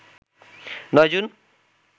৯ June